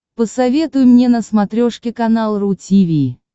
посоветуй мне на смотрешке канал ру ти ви